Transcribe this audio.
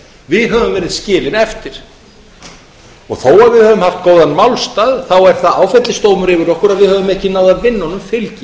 við höfum verið skilin eftir þó að við höfum haft góðan málstað er það áfellisdómur yfir okkur að við höfum ekki náð að vinna honum fylgi